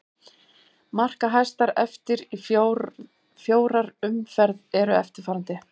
Markahæstar eftir í fjórar umferð eru eftirfarandi: